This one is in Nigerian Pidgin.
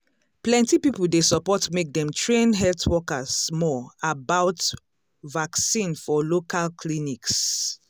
plenty people dey support make dem train health workers more about vaccine for local clinics.